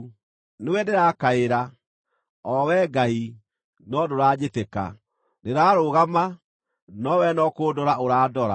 “Nĩwe ndĩrakaĩra, o Wee Ngai, no ndũranjĩtĩka; ndĩrarũgama, no wee no kũndora ũrandora.